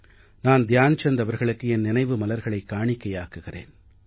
நான் த்யான் சந்த் அவர்களுக்கு என் நினைவு மலர்களைக் காணிக்கையாக்குகிறேன்